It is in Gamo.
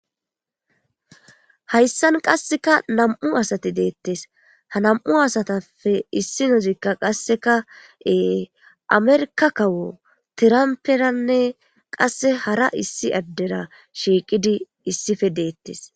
hayssan qasseka nam7u asati deettes ha nam7u asatappe issi nozikka qasseka ee amerka kawo tiramperanne qasse hara issi addera shiiqidi issife deettes